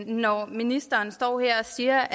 når ministeren står her og siger